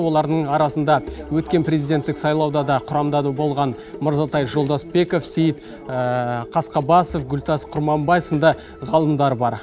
олардың арасында өткен президенттік сайлауда да құрамда болған мырзатай жолдасбеков сейіт қасқабасов гүлтас құрманбай сынды ғалымдар бар